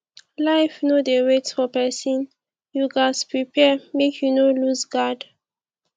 life no dey wait for pesin you ghas prepare make you no loose guard